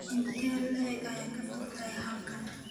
intee in le'eg ayaa ka fog halkan